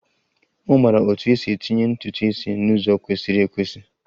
Ọ maara otú e si etinye ntutu isi n'ụzọ kwesịrị ekwesị